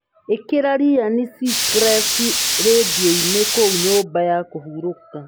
ĩkĩra ryan seacrest rĩndiũ-inĩ kũu nyũmba ya kũhurũka